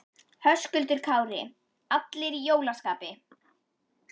Höskuldur Kári: Allir í jólaskapi?